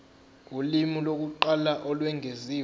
ulimi lokuqala olwengeziwe